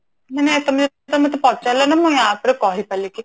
ମାନେ ତମେ ମତେ ପଚାରିଲ ନା ମୁଁ ୟା ଉପରେ କହି ପାରିଲି କି